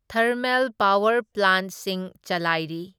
Thermal power ꯄ꯭ꯂꯥꯟꯠꯁꯤꯡ ꯆꯂꯥꯏꯔꯤ꯫